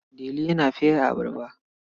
Delu yana fere abarba.